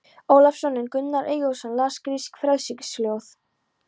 Ólafsson, en Gunnar Eyjólfsson las grísk frelsisljóð.